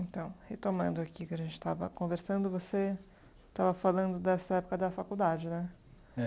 Então, retomando aqui o que a gente estava conversando, você estava falando dessa época da faculdade, né? É